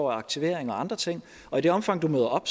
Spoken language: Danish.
aktivering og andre ting og i det omfang du møder op